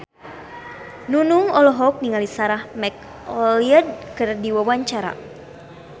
Nunung olohok ningali Sarah McLeod keur diwawancara